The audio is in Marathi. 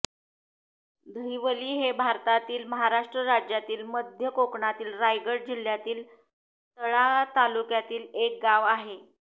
दहिवली हे भारतातील महाराष्ट्र राज्यातील मध्य कोकणातील रायगड जिल्ह्यातील तळा तालुक्यातील एक गाव आहे